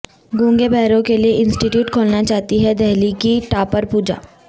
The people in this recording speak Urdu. گونگے بہروں کے لئے انسٹی ٹیوٹ کھولنا چاہتی ہے دہلی کی ٹاپر پوجا